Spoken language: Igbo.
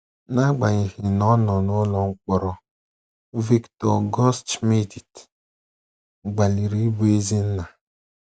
N’agbanyeghị na ọ nọ n’ụlọ mkpọrọ, Viktor Gutschmidt gbalịrị ịbụ ezi nna